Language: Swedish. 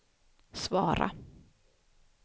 svara